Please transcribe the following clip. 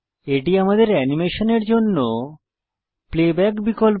এটি আমাদের অ্যানিমেশনের জন্য প্লেব্যাক বিকল্প